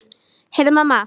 Heyrðu mamma!